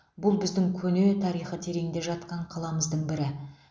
бұл біздің көне тарихы тереңде жатқан қаламыздың бірі